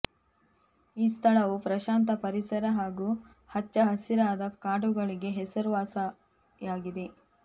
ಈ ಸ್ಥಳವು ಪ್ರಶಾಂತ ಪರಿಸರ ಹಾಗೂ ಹಚ್ಚ ಹಸಿರಾದ ಕಾಡುಗಳಿಗೆ ಹೆಸರುವಾಸಯಾಗಿದೆ